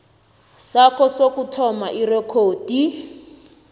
sakho sokuthola irekhodi